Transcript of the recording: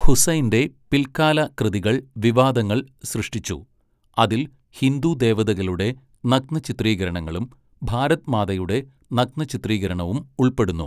ഹുസൈൻ്റെ പിൽക്കാല കൃതികൾ വിവാദങ്ങൾ സൃഷ്ടിച്ചു, അതിൽ ഹിന്ദു ദേവതകളുടെ നഗ്ന ചിത്രീകരണങ്ങളും ഭാരത് മാതയുടെ നഗ്ന ചിത്രീകരണവും ഉൾപ്പെടുന്നു.